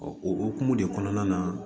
o hokumu de kɔnɔna na